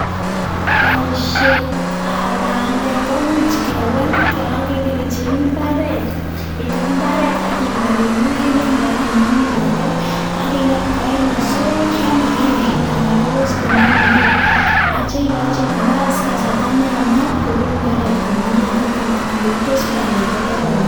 Boisietab bandek komuch kewaal kere icheng imbaaret, item imbaaret aki iwaal eng ngendek ako tuun imin bandek aki nget kora inde soroek cheyamekei anan ko phosphate cheyamekei atyo ikochi nafas kasarta neyamat koruur imbaret komnyee tatun tuun korurtos bandek kokararan.